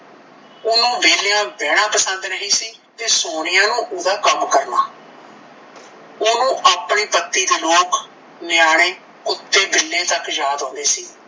ਓਹਨੂੰ ਵਹਿਲਿਆਂ ਬਹਿਣਾ ਪਸੰਦ ਨਹੀਂ ਸੀ ਤੇ ਸੋਨੀਆ ਨੂੰ ਓਹਦਾ ਕੰਮ ਕਰਨਾ ਓਹਨੂੰ ਆਪਣੇ ਪਤੀ ਦੇ ਲੋਕ ਨਿਆਣੇ ਕੁੱਤੇ ਬਿੱਲੇ ਤਕ ਯਾਦ ਆਉਂਦੇ ਸੀ